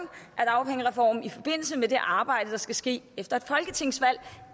af dagpengereformen i forbindelse med det arbejde der skal ske efter et folketingsvalg